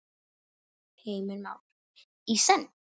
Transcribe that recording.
Heimir Már: Í senn?